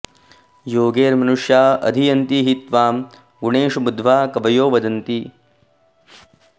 योगैर्मनुष्या अधियन्ति हि त्वां गुणेषु बुद्ध्या कवयो वदन्ति